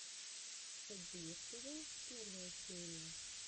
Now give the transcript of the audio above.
автодилер тв первая серия